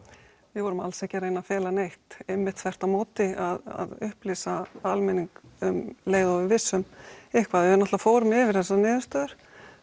við vorum alls ekki að reyna að fela neitt einmitt þvert á móti að upplýsa almenning um leið og við vissum eitthvað við fórum yfir þessar niðurstöður